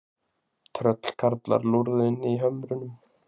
Tröllkarlar lúrðu inni í hömrunum.